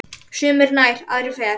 Sumir nær, aðrir fjær.